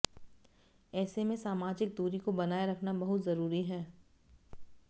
ऐसे में सामाजिक दूरी को बनाए रखना बहुत जरूरी है